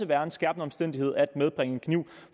være en skærpende omstændighed at medbringe en kniv